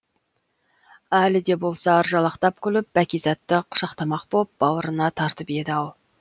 әлі де болса ыржалақтап күліп бәкизатты құшақтамақ боп бауырына тартып еді ау